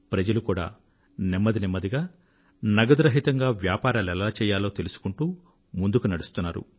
ప్రజలు కూడా నెమ్మదినెమ్మదిగా నగదు రహితంగా వ్యాపారాలు ఎలా చెయ్యాలో తెలుసుకుంటూ ముందుకు నడుస్తున్నారు